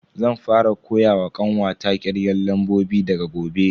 Zan fara koyawa kanwata kirgen lambobi daga gobe.